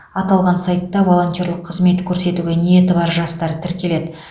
аталған сайтта волонтерлік қызмет көрсетуге ниеті бар жастар тіркеледі